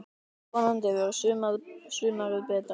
Vonandi verður sumarið betra!